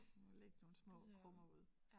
Man må lægge nogle små krummer ud